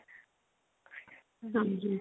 ਹਾਂਜੀ